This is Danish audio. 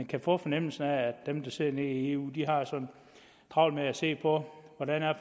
kan få fornemmelsen af at dem der sidder nede i eu har så travlt med at se på hvordan